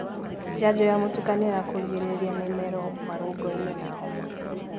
njanjo ya mũtukanio ya kugirĩrĩria mimero, marũngo, ini, na homa